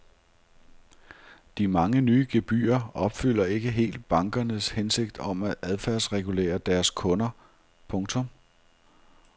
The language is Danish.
De mange nye gebyrer opfylder ikke helt bankernes hensigt om at adfærdsregulere deres kunder. punktum